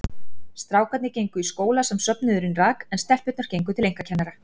Strákarnir gengu í skóla sem söfnuðurinn rak, en telpurnar gengu til einkakennara.